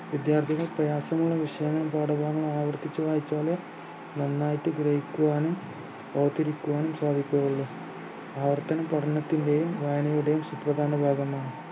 വിദ്യാർഥികൾ പ്രയാസമുള്ള വിഷയങ്ങൾ ഇതോടെ ആവർത്തിച്ചു വായിച്ചാലേ നന്നായിട്ട് ഗ്രഹിക്കുവാനും അവതരിക്കുവാനും സാധിക്കുകയുള്ളു ആവർത്തനം പഠനത്തിന്റെയും വായനയുടെയും സുപ്രധാന ഭാഗമാണ്